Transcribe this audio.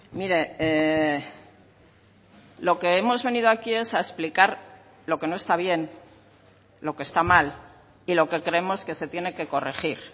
mire lo que hemos venido aquí es a explicar lo que no está bien lo que está mal y lo que creemos que se tiene que corregir